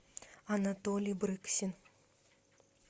анатолий брыксин